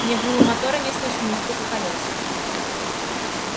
ни гула мотора не слышно ни стука колёс